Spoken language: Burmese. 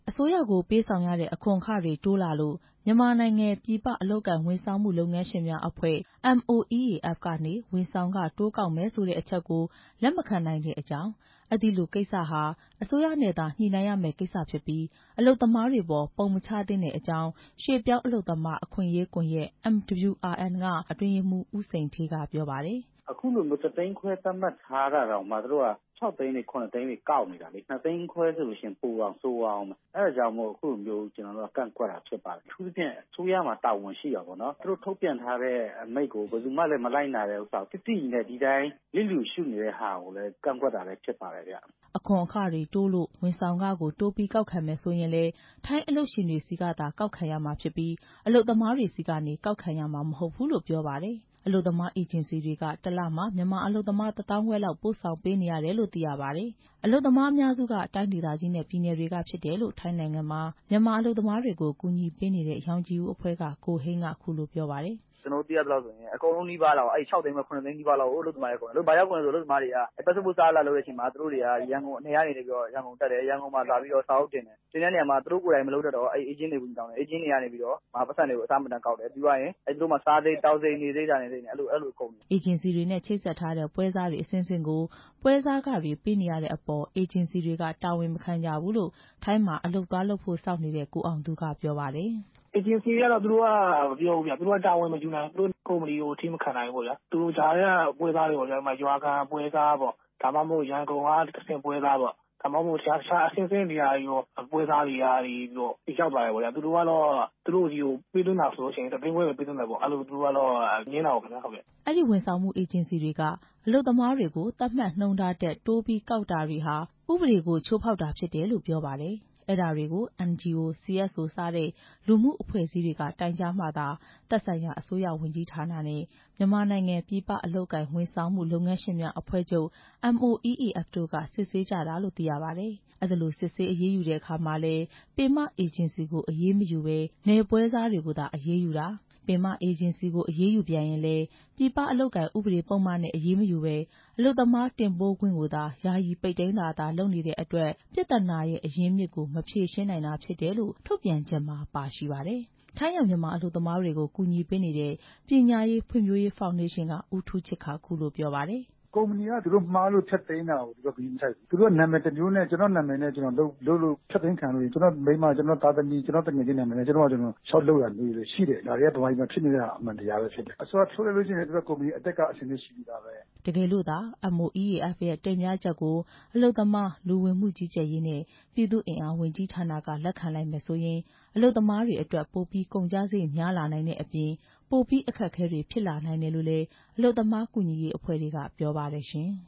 အစိုးရကို ပေးဆောင်ရတဲ့ အခွန်အခတွေ တိုးလာလို့ မြန်မာနိုင်ငံ ပြည်ပအလုပ်အကိုင်ဝန်ဆောင်မှု လုပ်ငန်းရှင်များအဖွဲ့ MOEAF ကနေ ဝန်ဆောင်ခတိုးကောက်မယ်ဆိုတဲ့ အချက်ကို လက်မခံနိုင်တဲ့အကြောင်း၊ အဲဒီလို အခွန်ကိစ္စဟာ အစိုးရနဲ့သာ ညှိနှိုင်းရမယ့် ကိစ္စဖြစ်ပြီး အလုပ်သမားတွေအပေါ် ပုံမချသင့်တဲ့အကြောင်း ရွှေ့ပြောင်းအလုပ်သမား အခွင့်အရေးကွန်ရက် MWRN က အတွင်းရေးမှူး ဦးစိန်ဌေးက ပြောပါတယ်။ "သူတို့က ၁ သိန်းခွဲသတ်မှတ်ထားတာတောင်မှ ၆ သိန်းတွေ၊ ၇ သိန်းတွေ ကောက်နေတာ။ ၂ သိန်းခွဲဆိုရင် ပိုတောင်ဆိုးသွားဦးမယ်။ အဲဒါကြောင့် အခုလို ကန့်ကွက်တာဖြစ်ပါတယ်။ အထူးသဖြင့် အစိုးရမှာ တာဝန်ရှိတာပေါ့နော်။ အစိုးရ ထုတ်ပြန်ထားအမိန့်ကို သိသိကြီးနဲ့ လစ်လျူရှုနေတာကို ကန့်ကွက်တာလည်း ဖြစ်ပါတယ်ခင်ဗျ" အခွန်အခတွေတိုးလို့ ဝန်ဆောင်ခကို တိုးပြီးကောက်ခံမယ်ဆိုရင်လည်း ထိုင်းအလုပ်ရှင်တွေဆီကသာ ကောက်ခံရမှာဖြစ်ပြီး အလုပ်သမားတွေဆီကနေ ကောက်ခံရမှာမဟုတ်ဘူးလို့လည်း ပြောပါတယ်။ အလုပ်သမား အေဂျင်စီတွေက ၁ လမှာ မြန်မာအလုပ်သမား ၁ သောင်းခွဲလောက် ပို့ဆောင်ပေးနေရတယ်လို့ သိရပါတယ်။ အလုပ်သမားအများစုက တိုင်းဒေသကြီးနဲ့ ပြည်နယ်တွေကဖြစ်တယ်လို့ ထိုင်းနိုင်ငံမှာ မြန်မာအလုပ်သမားတွေကို ကူညီပေးနေတဲ့ ရောင်ခြည်ဦးအဖွဲ့က ကိုဟိန်းက အခုလို ပြောပါတယ်။ "ကျနော်တို့ သိသလောက် အလုပ်သမားတွေက ၆ သိန်းခွဲ ၇ သိန်းလောက်အကုန်လုံးနီးပါးက ကုန်နေတာ။ ဘာလို့လဲဆိုတော့ သူတို့တွေက ပတ်စပို့စ်လုပ်တဲ့အခါ နယ်ကနေ ရန်ကုန်လာလုပ်တယ်။ သူတို့က မလုပ်တတ်တဲ့အခါ အေဂျင့်တွေကို အကူညီတောင်းတယ်။ အေးဂျင့်တွေက အဆမတန်တောင်းတယ်။ သူ့တို့မှာ စားရိတ် သောက်စရိတ်၊ နေစရိတ်နဲ့ အကုန်လုံးကုန်တာ" အေဂျင်စီတွေနဲ့ ချိတ်ဆက်ထားတဲ့ ပွဲစားတွေ အဆင့်ဆင့်ကို ပွဲစားခတွေပေးနေရတဲ့အပေါ် အေဂျင်စီတွေက တာဝန်မခံကြဘူးလို့ ထိုင်းမှာ အလုပ်သွားလုပ်ဖို့ စောင့်နေတဲ့ ကိုအောင်သူက ပြောပါတယ်။ "အေဂျင်စီတွေက သူတို့က တာဝန်မယူဘူးခင်ဗျ၊ ကုမ္ပဏီကို အထိမခံနိုင်ဘူးပေါ့ဗျာ၊ သူတို့ကြားထဲက ပွဲစားနဲ့ ရွာကပွဲစားပေါ့၊ ဒါမှမဟုတ် ရန်ကုန်က ပွဲစားပေါ့။ အဆင့်ဆင့်ပွဲစားတွေကနေပြီးတော့ ရောက်လာတယ်ပေါ့။ သူတို့ကနေပြီးတော့ ပေးသွင်းရင် ၁ သိန်းခွဲပဲ ပေးသွင်းတာပေါ့။ သူတို့က ငြင်းတာပေါ့ဗျာ" အဲဒီ ဝန်ဆောင်မှုအေဂျင်စီတွေက အလုပ်သမားတွေကို သတ်မှတ်နှုန်းထားတွေထက် တိုးပြီးကောက်တာတွေဟာ ဥပဒေကို ချိုးဖောက်တာဖြစ်တယ်လို့ ပြောပါတယ်။ အဲဒါတွေကို NGO, CSO စတဲ့ လူမှုအဖွဲ့အစည်းတွေက တိုင်ကြားမှသာ သက်ဆိုင်ရာ အစိုးရဝန်ကြီးဌာနနဲ့ မြန်မာနိုင်ငံ ပြည်ပအလုပ်အကိုင် ဝန်ဆောင်မှုလုပ်ငန်းရှင်များ အဖွဲ့ချုပ် တို့က စစ်ဆေးကြတယ်လို့ သိရပါတယ်။ အဲဒီလို စစ်ဆေးအရေးယူတဲ့အခါမှာလည်း ပင်မအေဂျင်စီကို အရေးမယူဘဲ နယ်ပွဲစားတွေကိုသာ အရေးယူတာ၊ ပင်မအေဂျင်စီတွေကို အရေးယူပြန်ရင်လည်း ပြည်ပအလုပ်အကိုင်ဥပဒေပုဒ်မနဲ့ အရေးမယူဘဲ အလုပ်သမားတင်ပို့ခွင့်ကိုသာ ယာယီပိတ်သိမ်းတာသာ လုပ်နေတဲ့အတွက် ပြဿနာရဲ့ အရင်းအမြစ်ကို မဖြေရှင်းနိုင်တာဖြစ်တယ်လို့ ထုတ်ပြန်ချက်မှာ ပါရှိပါတယ်။ ထိုင်းရောက် မြန်မာအလုပ်သမားတွေကို ကူညီပေးနေတဲ့ ပညာရေး ဖွံ့ဖြိုးရေး ဖောင်ဒေးရှင်းက ဦးထူးချစ်က အခုလို ပြောပါတယ်။ "ကုမ္ပဏီက သူတို့မှားလို့ ဖျက်သိမ်းလည်း ဂရုမစိုက်ဘူး။ ကျနော့် နာမည်နဲ့ ဖျက်သိမ်းခံရရင်၊ ကျနော့် သားသမီး၊ ကျနော့် မိန်းမ၊ကျနော့် သူငယ်ချင်းနာမည်နဲ့ ထပ်လျှောက်တာရှိတယ်။ ဒါတွေက ဗမာပြည်မှာဖြစ်နေတဲ့ အမှန်တရားပဲဖြစ်တယ်။ အစိုးရက ဖြုတ်လိုက်လည်း သူတို့က ကုမ္ပဏီအသစ်ကရှိပြီးသားပဲ" တကယ်လို့သာ MOEAF ရဲ့ တင်ပြချက်ကို အလုပ်သမား၊ လူဝင်မှုကြီးကြပ်ရေးနဲ့ ပြည်သူ့အင်အားဝန်ကြီးဌာနက လက်ခံလိုက်မယ်ဆိုရင် အလုပ်သမားတွေအတွက် ပိုပြီး ကုန်ကျစရိတ်များလာနိုင်တဲ့အပြင် ပိုပြီးအခက်ခဲတွေဖြစ်လာနိုင်တယ်လို့လည်း အလုပ်သမားကူညီပေးရေးအဖွဲ့တွေက ပြောပါတယ်ရှင်။